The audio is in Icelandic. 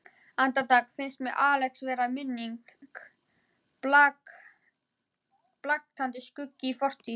Andartak finnst mér Axel vera minning, blaktandi skuggi í fortíð.